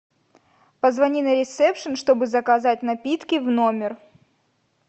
позвони на ресепшен чтобы заказать напитки в номер